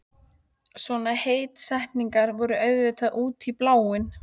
Svona heitstrengingar voru auðvitað út í bláinn.